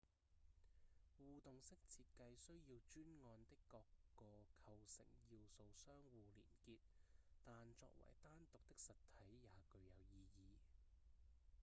互動式設計需要專案的各個構成要素相互連結但作為單獨的實體也具有意義